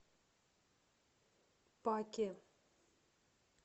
паке